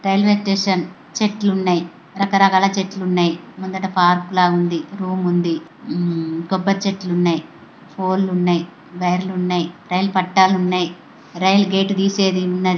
Railway station . చెట్లున్నాయ్. రకరకాల చెట్లు ఉన్నాయ్. ముందట పార్కు లాగా ఉంది. రూమ్ ఉంది .ఉమ్ కొబ్బరి చెట్లు ఉన్నాయ్. ఫోల్ ఉన్నాయ్. వైర్ లు ఉన్నాయ్. రైలు పట్టాలు ఉన్నాయ్. రైల్ గేటు తీసేది ఉన్నది.